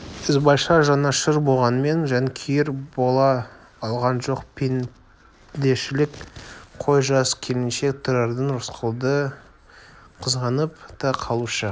ізбайша жанашыр болғанмен жанкүйер бола алған жоқ пендешілік қой жас келіншек тұрардан рысқұлды қызғанып та қалушы